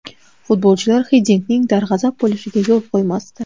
Futbolchilar Xiddinkning darg‘azab bo‘lishiga yo‘l qo‘ymasdi.